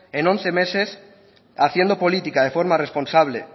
en once meses haciendo política de forma responsable